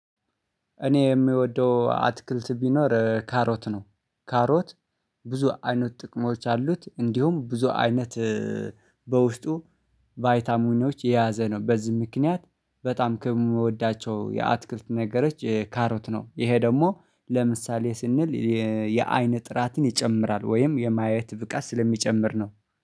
እኔ የምወደው አትክልት ቢኖር ካሮት ነው። ካሮት ብዙ አይነት ጥቅሞች አሉት። እንዲሁም ብዙ አይነት በውስጡ ቫይታሙኒዎች የያዘ ነው። በዚህ ምክንያት በጣም ከምወዳቸው የአትክልት ነገሮች ካሮት ነው። ይሄ ደግሞ ለምሳሌ ስንል የአይን ጥራትን ይጨምራል ወይም የማየት ብቃት ስለሚጨምር ነው